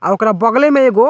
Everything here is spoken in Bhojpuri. आ ओकरा बगले में एगो --